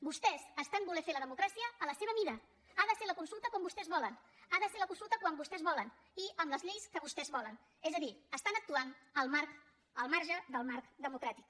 vostès estan volent fer la democràcia a la seva mida ha de ser la consulta com vostès volen han de ser la consulta quan vostès volen i amb les lleis que vostès volen és a dir estan actuant al marge del marc democràtic